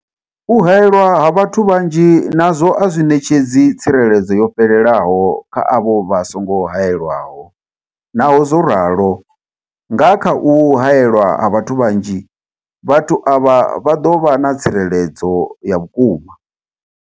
U haelwa ha vhathu vhanzhi nazwo a zwi ṋetshedzi tsireledzo yo fhelelaho kha avho vha songo haelwaho, naho zwo ralo, nga kha u haelwa ha vhathu vhanzhi, vhathu avha vha ḓo vha na tsireledzo ya vhukuma.